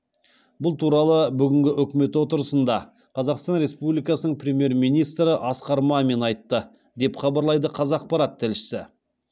бұл туралы бүгінгі үкімет отырысында қазақстан республикасының премьер министрі асқар мамин айтты деп хабарлайды қазақпарат тілшісі